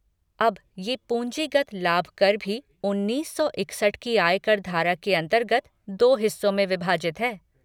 अब, ये पूँजीगत लाभ कर भी उन्नीस सौ इकसठ की आयकर धारा के अन्तर्गत दो हिस्सों में विभाजित है।